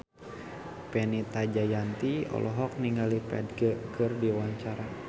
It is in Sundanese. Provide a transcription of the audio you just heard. Fenita Jayanti olohok ningali Ferdge keur diwawancara